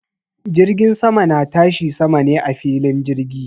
Jirgin sama na tashi sama ne a filin jirgi